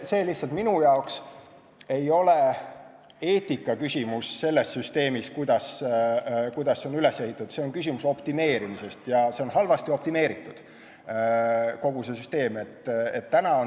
Lihtsalt minu jaoks ei ole eetikaküsimus selles, kuidas see süsteem on üles ehitatud, see on küsimus optimeerimisest, ja see on halvasti optimeeritud, kogu see süsteem.